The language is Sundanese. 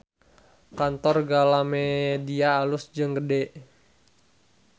Kantor Galamedia alus jeung gede